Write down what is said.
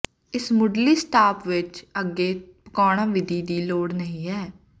ਇਸ ਮੁੱਢਲੀ ਸਟਾਪ ਵਿਚ ਅੱਗੇ ਪਕਾਉਣਾ ਵਿਧੀ ਦੀ ਲੋੜ ਨਹੀ ਹੈ